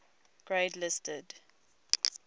grade listed